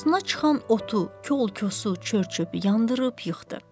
Qarşısına çıxan otu, kolu, kösü, çörçü yandırıb yıxdı.